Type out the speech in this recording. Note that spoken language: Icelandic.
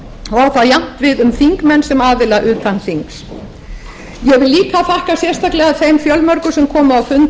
á það jafnt við um þingmenn sem aðila utan þings ég vil líka þakka sérstaklega þeim fjölmörgu sem komu á fund